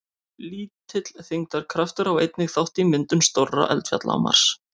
Lítill þyngdarkraftur á einnig þátt í myndum stórra eldfjalla á Mars.